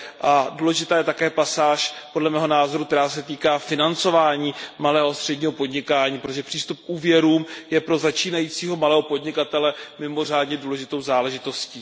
A důležitá je také pasáž, podle mého názoru, která se týká financování malého a středního podnikání, protože přístup k úvěrům je pro začínajícího malého podnikatele mimořádně důležitou záležitostí.